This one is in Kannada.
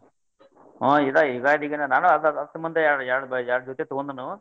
ಹಾ ಇದ್ ಯುಗಾದಿಗೇನ್ ನಾನು ಅದ ಎರ್ಡ್ ಎರ್ಡ್ ಎರ್ಡ್ ಜೊತೆ ತೊಗೊಂಡುನು.